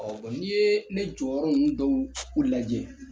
Ɔ ni ye ne jɔyɔrɔ ninnu dɔw u lajɛ